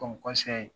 Ko